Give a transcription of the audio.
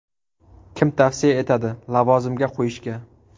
Kim tavsiya etadi lavozimga qo‘yishga?